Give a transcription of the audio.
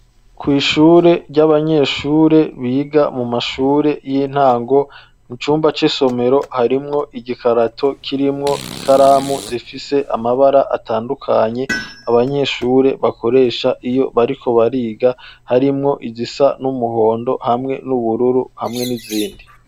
Kw’ishuri ry'abanyeshure biga mu mashure y'intango mu cumba c'isomero harimwo igikarato kirimwo ikaramu zifise amabara atandukanye abanyeshure bakoresha iyo bariko bariga harimwo igisa n'umuhondo hamwe n'ubururu hamwe n'izindi.